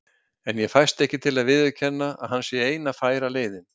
En ég fæst ekki til að viðurkenna, að hann sé eina færa leiðin.